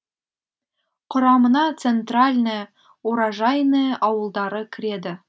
құрамына центральное уражайное ауылдары кіреді